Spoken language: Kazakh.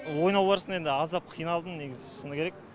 ойнау барысында енді аздап қиналдым негізі шыны керек